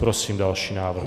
Prosím další návrh.